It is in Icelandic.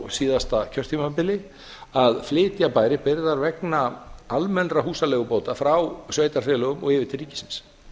síðasta kjörtímabili að flytja bæri byrðar vegna almennra húsaleigubóta frá sveitarfélögum og yfir til ríkisins